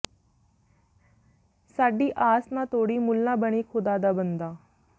ਸਾਡੀ ਆਸ ਨਾ ਤੋੜੀਂ ਮੁਲਾਂ ਬਣੀ ਖੁਦਾ ਦਾ ਬੰਦਾ